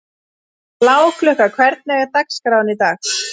Bláklukka, hvernig er dagskráin í dag?